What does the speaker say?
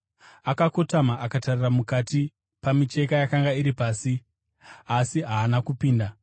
Akakotama akatarira mukati pamicheka yakanga iri pasi asi haana kupinda.